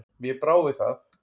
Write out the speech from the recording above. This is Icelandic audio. Mér brá við það.